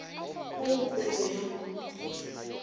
mo go poelo ya go